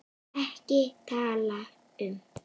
EKKI TALA UM